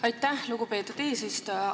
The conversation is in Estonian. Aitäh, lugupeetud eesistuja!